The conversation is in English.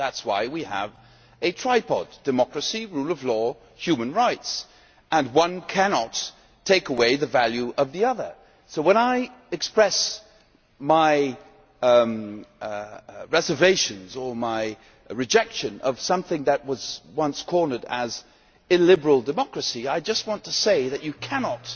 That is why we have a tripod democracy, rule of law, human rights. One cannot take away the value of the other. When I express my reservations or my rejection of something that was once described as illiberal democracy', I just want to say that you cannot